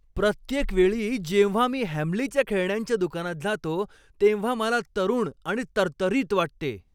प्रत्येक वेळी जेव्हा मी हॅमलीच्या खेळण्यांच्या दुकानात जातो तेव्हा मला तरुण आणि तरतरीत वाटते!